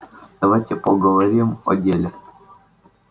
давайте поговорим о деле